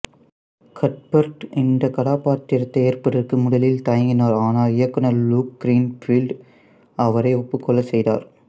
Cuthbert இந்தக் கதாபாத்திரத்தை ஏற்பதற்கு முதலில் தயங்கினார் ஆனால் இயக்குநர் லூக் கிரீன்ஃபீல்ட் அவரை ஒப்புக்கொள்ளச் செய்தார்